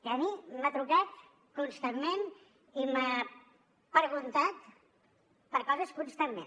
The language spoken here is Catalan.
que a mi m’ha trucat constantment i m’ha preguntat per coses constantment